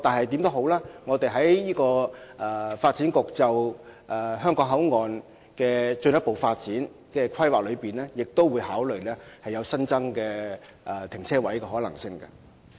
不過，發展局為香港口岸進行進一步發展規劃時，也會考慮新增停車位的可能性。